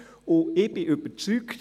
Ich bin überzeugt: